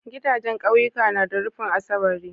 Gidajan ƙauyuka na da rufin asabari